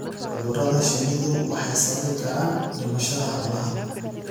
Cudurada shinnidu waxay sababi karaan dhimashada xoolaha.